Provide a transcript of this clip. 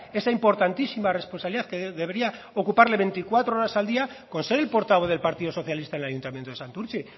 esa importantísima responsabilidad que debería ocuparle veinticuatro horas al día con ser el portavoz del partido socialista en el ayuntamiento de santurtzi